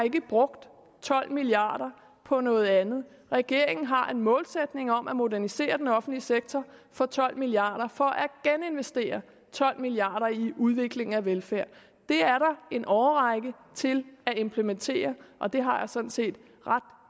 brugt tolv milliarder på noget andet regeringen har en målsætning om at modernisere den offentlige sektor for tolv milliarder for at geninvestere tolv milliarder i udviklingen af velfærd det er der en årrække til at implementere og det har jeg sådan set ret